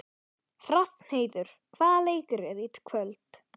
Hrafnheiður, hvaða leikir eru í kvöld?